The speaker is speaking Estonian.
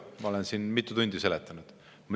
Ma olen siin mitu tundi seda seletanud.